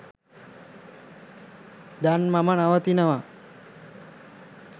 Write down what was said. දැන් මම නවතිනවා.